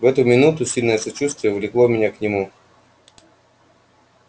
в эту минуту сильное сочувствие влекло меня к нему